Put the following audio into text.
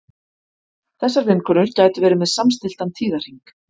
þessar vinkonur gætu verið með samstilltan tíðahring